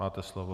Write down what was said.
Máte slovo.